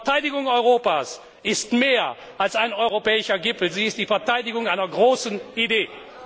Die Verteidigung Europas ist mehr als ein europäischer Gipfel, sie ist die Verteidigung einer großen Idee!